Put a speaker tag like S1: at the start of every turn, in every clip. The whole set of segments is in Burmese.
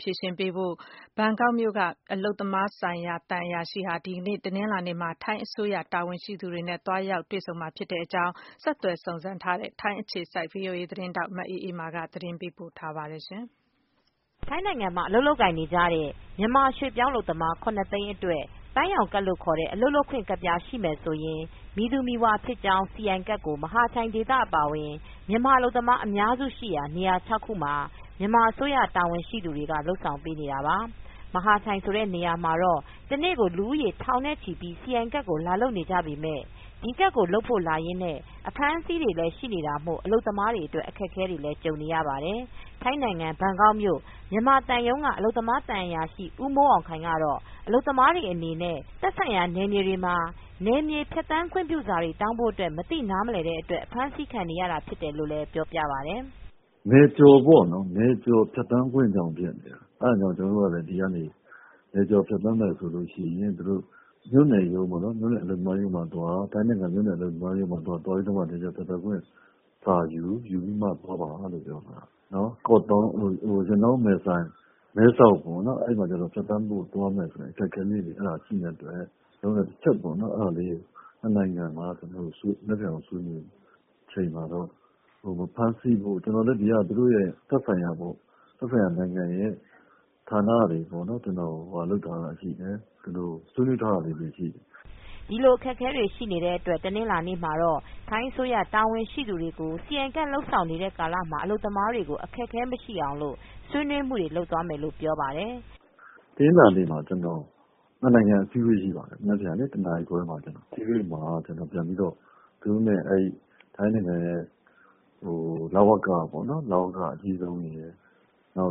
S1: ဖြေရှင်းဖို့ အတွက် ဘန်ကောက်မြို့က မြန်မာ အလုပ်သမား သံအရာရှိက တနင်္လာနေ့မှာ ထိုင်းအစိုးရ တာဝန်ရှိသူတွေနဲ့ တွေ့ဆုံဆွေးနွေးသွားမယ်လို့ပြောပါတယ်။ မအေးအေးမာသတင်းပေးပို့ ထားပါတယ်။ ထိုင်းနိုင်ငံမှာ အလုပ်လုပ်ကိုင်နေကြတဲ့ မြန်မာရွေ့ပြောင်း အလုပ်သမား သိန်း အတွက် ပန်းရောင်ကဒ်လို့ခေါ်တဲ့အလုပ်လုပ်ခွင့်ကဒ် ရှိမယ်ဆိုရင် မည်သူမည်ဝါ ဖြစ်ကြောင်း CI ကဒ်ကို မဟာချိုင်ဒေသ အပါအဝင် မြန်မာအလုပ်သမား အများစုရှိရာ နေရာ ၆ နေရာမှာမြန်မာအစိုးရက တာဝန်ရှိသူတွေက လုပ်ဆောင်ပေးနေတာပါ။ မဟာချိုင်ဆိုတဲ့နေရာမှာတော့ တနေ့ကို လူဦးရေ ထောင်နဲ့ချီပြီး စီအိုင်ကဒ် ကိုလာလုပ်နေကြပေမယ့် ဒီကဒ်ကိုလုပ်ဖို့လာရင်နဲ့ အဖမ်းဆီးတွေရှိနေရတာမို့အလုပ်သမားတွေ အတွက် အခက်အခဲတွေ ဖြစ်နေရတာပါ။ ထိုင်းနိုင်ငံဘန်ကောက်မြို့ မြန်မာသံရုံးက အလုပ်သမားသံအရာရှိ ဦးမိုးအောင်ခိုင်ကတော့ အလုပ်သမားတွေအနေနဲ့ သက်ဆိုင်ရာ နယ်မြေတွေမှာ နယ်ကျော်ဖြတ်သန်းခွင့်ပြုစာတွေ တောင်းဖို့ မသိနားမလည်တဲ့အတွက် အဖမ်းဆီးခံနေရတာဖြစ်တယ်လို့ ပြောပြပါတယ်။
S2: “နယ်ကျော်ပေါ့နော် ၊ နယ်ကျော်ဖြတ်သန်းခွင့်ကြောင့် ဖြစ်တဲ့ အဲဒါကြောင့်မို့လို့ ကျနော်တို့ကလည်း ဒီကနေ နယ်ကျော်ဖြတ်သန်းပိုင်ခွင့်ကို အခုဆိုရင် ထိုင်းနိုင်ငံ မြို့နယ်အလုပ်သမားရုံးမှာသွား ၊ နယ်ကျော်ဖြတ်သန်းခွင့်စာယူ ပြီးမှ သွားပါလို့ ပြောထားတာ။ မယ်ဆိုင်- မဲဆောက်ပေါ့နော် အဲဒီမှာ သွားမယ်ဆိုရင် အခက်အခဲလေးတွေ ရှိနိုင်တဲ့အတွက် ကျနော်တို့လည်း တချက်ပေါ့နော် ၂ နိုင်ငံ အစည်းအဝေး မနက်ဖြန်ကိုဆွေးနွေးမယ်။ ကျနော်တို့လည်း ဒီက သက်ဆိုင်ရာ ဌာနတွေနဲ့ ဆွေးနွေးထားတာတွေရှိတယ
S1: ်။” ဒီလိုအခက်အခဲတွေရှိနေတဲ့အတွက် တနင်္လာနေ့မှာတော့ ထိုင်းအစိုးရ တာဝန်ရှိသူတွေကို စိအိုင်ကဒ် လုပ်ဆောင်နေတဲ့ ကာလမှာ အလုပ်သမားတွေကို အခက်အခဲ မရှိအောင်လို့ဆွေးနွေးမူတွေ လုပ်သွားမယ်လို့ ပြောပါတယ်။
S2: “တနင်္လာနေ့မှာ ကျနော်တို့ ၂ နိုင်ငံ အစည်းအဝေးရှိပါတယ်။ မနက်ဖြန် ၁ နာရီခွဲမှာ ၊ အဲဒီအစည်းအဝေးမှာ ကျနော် ထိုင်းနိုင်ငံရဲ့ လဝကပေါ့နော် ၊ လဝက အကြီးဆုံးရယ်၊ နိုင်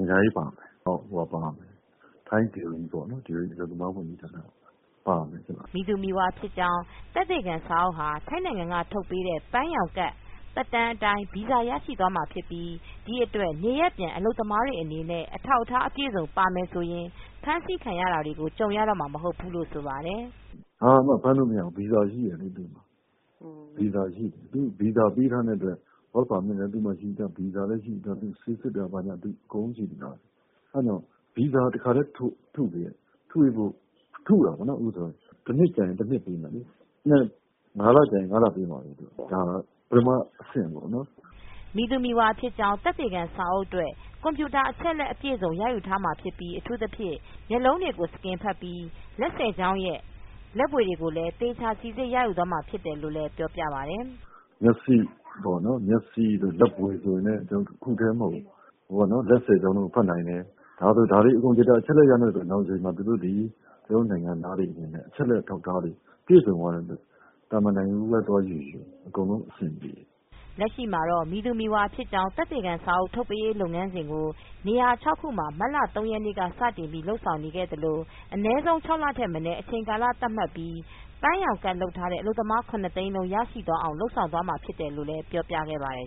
S2: ငံခြားရေးပါမယ်၊ ထိုင်းအလုပ်သမားဝန်ကြီးဌာန ပါမယ်။
S1: ” မည်သူမည်ဝါဖြစ်ကြောင်း သက်သေခံစာအုပ်ဟာ ထိုင်းနိုင်ငံထုတ်ပေးတဲ့ ပန်းရောင်ကဒ် သက်တမ်း အတိုင်း ဗီဇာ ရရှိသွားမှာဖြစ်ပြီး ဒီအတွက် နေရပ်ပြန် အလုပ်သမားတွေအနေနဲ့ အထောက်အထားအပြည့်အစုံပါရင် ဖမ်းဆီးခံရတာတွေကိုကြုံရတော့မှာမဟုတ်ဘူးလို့ ဆိုပါတယ်။
S2: “ဘာမှ ဖမ်းလို့မရဘူး ဗီဇာရှိတယ်လေ သူ့မှာ ၊ ဗီဇာပေးထားတဲ့အတွက် Work Permit လည်း သူ့မှာ ရှိပြီးသား ဗီဇာလည်းရှိပြီးသား ဆေးစစ်တာတွေလည်းရှိပြီးသား။ အဲဒါကြောင့် အခု ဗီဇာတခါတည်း ထုပေးတယ် ၊ ၁ နှစ်ကြာရင် ၁ နှစ်ပေးမယ်၊ ၅ လကြာရင် ၅ လပေးမှာပေါ့ ဒါ ပထမ အဆင့်ပေါ့နော်
S1: ။” မည်သူမည်ဝါဖြစ်ကြောင်းသက်သေခံစာအုပ် အတွက် ကွန်ပြုတာအချက်အလက် အပြည်အစုံ ရယူထားမှာဖြစ်ပြီး အထူးသဖြင့် မျက်လုံးတွေ စကင်ဖတ်တာမျိုးနဲ့ လက်၁၀ချောင်းရဲ့ လက်ဗွေတွေကို သေချာစိစစ်ရယူသွားမှာဖြစ်တယ်လို့ လည်း ပြောပြပါတယ်။
S2: “မျက်စိတို့ လက်ဗွေဆိုရင်လည်းတခုတည်းမဟုတ်ဘူး ၊ လက် ၁၀ ချောင်းကို ဖတ်မယ်။ ဒါတွေလည်း အချက်အလက်တွေကို နောင်တချိန်မှာ သူတို့သည် ကျနော်တို့ နိုင်ငံသားတွေအနေနဲ့ အချက်အလက်အထောက်အထားတွေ ရှိတဲ့အတွက် သာမန်နိုင်ငံကူးပဲသွားယူယူ အဆင်ပြေတယ်
S1: ။” လက်ရှိမှာတော့ မည်သူမည်ဝါဖြစ်ကြောင်းသက်သေခံစာအုပ်ထုတ်ပေးရေး လုပ်ငန်းစဉ်ကို နေရာ ၆ခုမှာ မတ်လ၃ရက်နေ့ ကစတင်လုပ်ဆောင်နေပြီး အနည်းဆုံး ၆လထက်မနည်း အချိန်ကာလ သတ်မှတ်ပြီး ပန်းရောင်ကဒ် လုပ်ထားတဲ့အလုပ်သမား ၇ သိန်း လုံး ရရှိသွားအောင် လုပ်ဆောင်သွားမှာ ဖြစ်တယ်လို့ လည်းပြောပြပါတယ်